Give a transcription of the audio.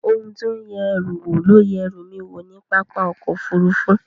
Ohun tí ó ń yẹ ẹrù wò ló yẹ ẹrú mi wò ní pápá ọkọ̀ Òfurufú